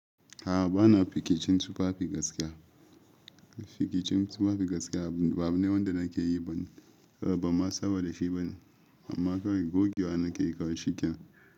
A'a bana fice cin tufafi gaskiya. Fice cin tufafi gaskiya ba abu ne wanda nake yi ba. Ban ma saba da shi bane. Amma kawai gogewa nake yi kawai shikenan.